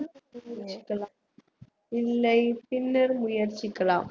இல்லை பின்னர் முயற்சிக்கலாம்